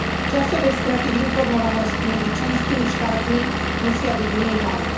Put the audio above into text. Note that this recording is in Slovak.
Časové straty v informovanosti medzi členskými štátmi musia byť minimálne.